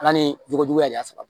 Ala ni jogo juguya de y'a sɔrɔ